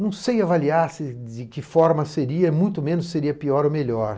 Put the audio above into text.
não sei avaliar de que forma seria, muito menos seria pior ou melhor.